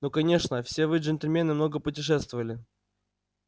ну конечно все вы джентльмены много путешествовали